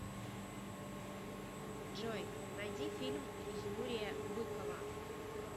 джой найди фильм юрия быкова